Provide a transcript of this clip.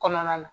Kɔnɔna na